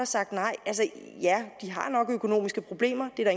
sagt nej og ja de har nok økonomiske problemer det er